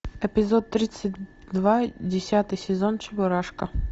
эпизод тридцать два десятый сезон чебурашка